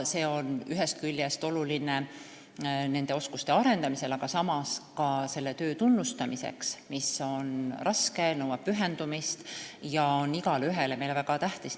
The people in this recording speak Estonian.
See on ühest küljest oluline oskuste arendamisel, aga samas ka selleks, et tunnustada seda raske tööd, mis nõuab pühendumist ja on igaühele meist väga tähtis.